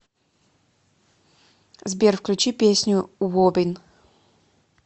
сбер включи песню воббин